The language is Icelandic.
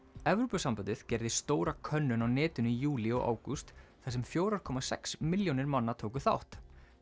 Evrópusambandið gerði stóra könnun á netinu í júlí og ágúst þar sem fjórar komma sex milljónir manna tóku þátt